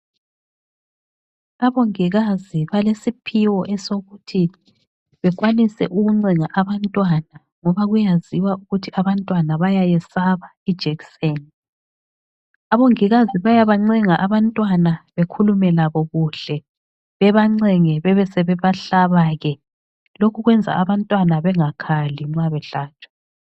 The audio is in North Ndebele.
Abongikazi balesiphiwo esokuthi bekwanise ukuncenga abantwana ngoba kuyaziwa ukuthi abantwana bayayesaba ijekiseni. Abongikazi bayabancenga abantwana bekhulume labo kuhle bebancenge bebesebahlaba ke. Lokhu kwenza abantwana bengakhali nxa behlatshwa.